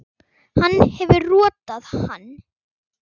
Hann hefur rotað hann!